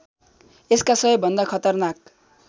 यसका सबैभन्दा खतरनाक